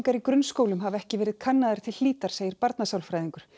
í grunnskólum hafa ekki verið kannaðar til hlítar segir barnasálfræðingur